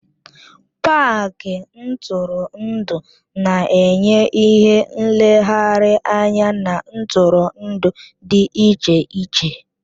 Pááki ntụrụndụ na-enye ìhè nlegharị anya na ntụrụndụ dị iche iche